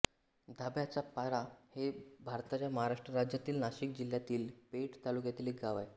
धाब्याचापाडा हे भारताच्या महाराष्ट्र राज्यातील नाशिक जिल्ह्यातील पेठ तालुक्यातील एक गाव आहे